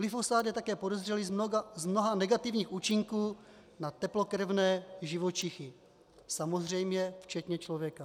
Glyfosát je také podezřelý z mnoha negativních účinků na teplokrevné živočichy, samozřejmě včetně člověka.